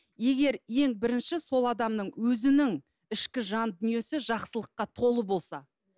егер ең бірінші сол адамның өзінің ішкі жан дүниесі жақсылыққа толы болса